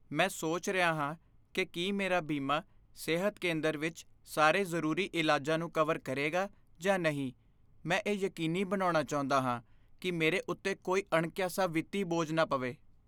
ਮੈਂ ਸੋਚ ਰਿਹਾ ਹਾਂ ਕਿ ਕੀ ਮੇਰਾ ਬੀਮਾ ਸਿਹਤ ਕੇਂਦਰ ਵਿੱਚ ਸਾਰੇ ਜ਼ਰੂਰੀ ਇਲਾਜਾਂ ਨੂੰ ਕਵਰ ਕਰੇਗਾ ਜਾਂ ਨਹੀਂ। ਮੈਂ ਇਹ ਯਕੀਨੀ ਬਣਾਉਣਾ ਚਾਹੁੰਦਾ ਹਾਂ ਕਿ ਮੇਰੇ ਉੱਤੇ ਕੋਈ ਅਣਕਿਆਸਾ ਵਿੱਤੀ ਬੋਝ ਨਾ ਪਵੇ।